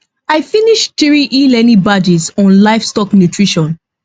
i finish three elearning badges on livestock nutrition